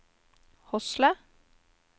Hosle